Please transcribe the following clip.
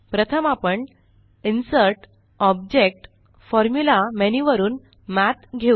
प्रथम आपण InsertgtObjectgtFormulaमेन्यू वरुन मठ घेऊ